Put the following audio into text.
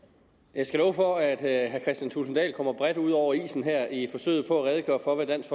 jeg skal love for at herre kristian thulesen dahl kommer bredt ud over isen her i forsøget på at redegøre for hvad dansk